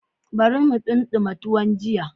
Bari mu ɗimama tuwon jiya.